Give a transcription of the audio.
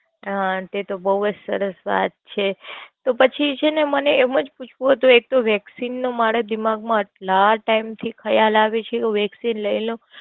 હનન એ તો બોવ જ સરસ વાત છે. તો પછી છેને મને એમ જ પૂછુવું તું એક તો Vaccine નું મારા દિમાગ માં એટલા ટાઈમ થી ખ્લાય આવે છે કે હું Vaccine લય લવ.